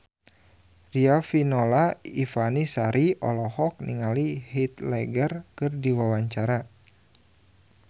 Riafinola Ifani Sari olohok ningali Heath Ledger keur diwawancara